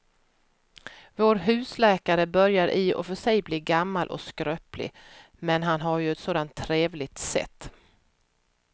Vår husläkare börjar i och för sig bli gammal och skröplig, men han har ju ett sådant trevligt sätt!